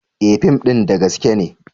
E! fim din da gaske ne.